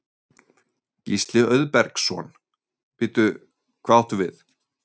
Gísli Auðbergsson: Bíddu, hvað áttu við?